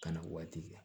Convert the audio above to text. Ka na waati kɛ